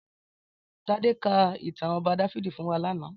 Tade kà itàn Òbà Dàfidi fún wà làná